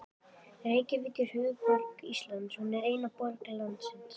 Reykjavík er höfuðborg Íslands. Hún er eina borg landsins.